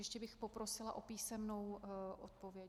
Ještě bych poprosila o písemnou odpověď.